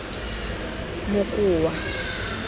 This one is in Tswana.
mokoa